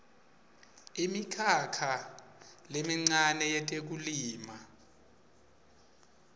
imikhakha lemincane yetekulima